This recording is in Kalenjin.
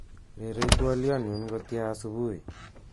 Rerei twoliotnyu kotya subui